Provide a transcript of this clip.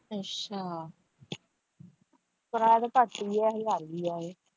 ਅੱਛਾ ਕਿਰਾਇਆ ਤੇ ਘੱਟ ਹੀ ਹੈ ਹਜਾਰ ਰੁਪਇਆ ਹੈ।